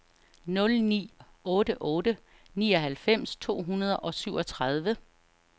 nul ni otte otte nioghalvfems to hundrede og syvogtredive